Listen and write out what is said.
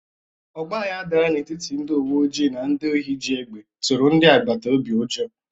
Ọgbaghara dara n'etiti ndị uwe ojii na ndị ohi ji egbe tụrụ ndị agbata obi ụjọ.